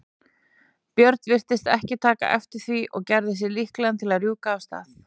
björn virtist ekki taka eftir því og gerði sig líklegan til að rjúka af stað.